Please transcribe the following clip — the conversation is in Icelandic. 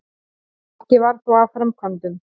Ekki varð þó af framkvæmdum.